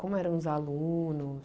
Como eram os alunos?